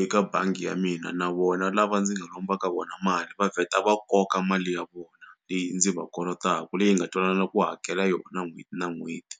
eka bangi ya mina na vona lava ndzi nga lomba ka vona mali va vheta va koka mali ya vona leyi ndzi va kolotaku leyi hi nga twanana ku hakela yona n'hweti na n'hweti.